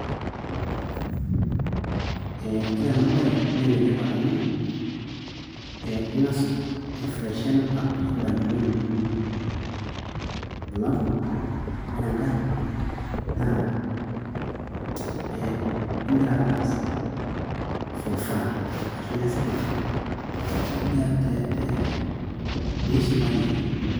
Ee, ore ena baye naa enetipat amu ee ing'as afreshen up indamunot inonok alafu ore enkae naa ee inkira ake aaas for fun ashuu pee ishipayu ake.